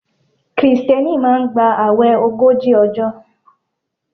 Krìsténi máa n gba ààwè ogójì òjò